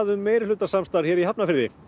um meirihlutasamstarf hér í Hafnarfirði